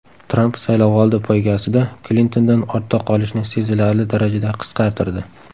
Tramp saylovoldi poygasida Klintondan ortda qolishni sezilarli darajada qisqartirdi .